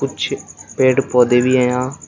कुछ पेड़ पौधे भी हैं यहां।